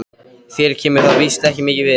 Þér kemur það víst ekki mikið við.